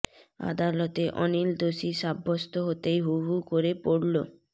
আদালতে অনিল দোষী সাব্যস্ত হতেই হু হু করে পড়ল